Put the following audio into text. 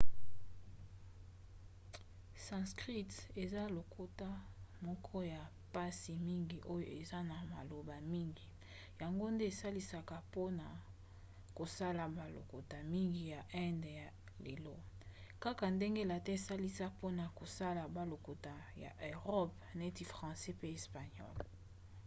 sanskrit eza lokota moko ya mpasi mingi oyo eza na maloba mingi yango nde esalisaka mpona kosala balokota mingi ya inde ya lelo kaka ndenge latin esalisa mpona kosala balokota ya erope neti francais pe espagnole